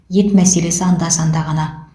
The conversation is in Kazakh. ет мәселесі анда санда ғана